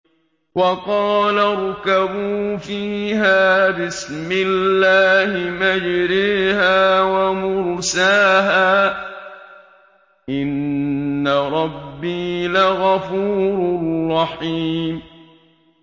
۞ وَقَالَ ارْكَبُوا فِيهَا بِسْمِ اللَّهِ مَجْرَاهَا وَمُرْسَاهَا ۚ إِنَّ رَبِّي لَغَفُورٌ رَّحِيمٌ